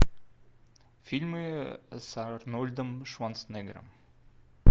фильмы с арнольдом шварценеггером